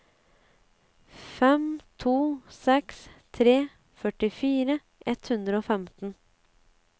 fem to seks tre førtifire ett hundre og femten